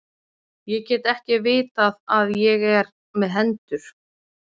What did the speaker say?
Ég get ekki vitað að ég er með hendur.